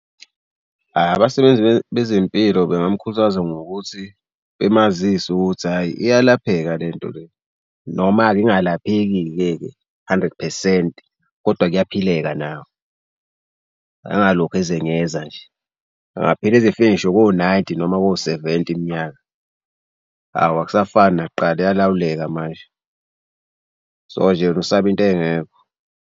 Abasebenzi bezempilo bengamkhuthaza ngokuthi bemazise ukuthi hhayi iyalapheka le nto le noma-ke ingalapheki-ke-ke hundred percent kodwa kuyaphileka nayo. Angalokhu ezenyeza nje, angaphila ezifike ngisho ko-ninety noma ko-seventy iminyaka. Awu akusafani nakuqala iyalawuleka manje so nje yena usaba into engekho.